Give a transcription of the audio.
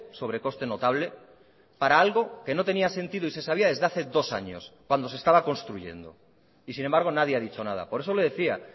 sobrecoste notable para algo que no tenía sentido y se sabía desde hace dos años cuando se estaba construyendo y sin embargo nadie ha dicho nada por eso le decía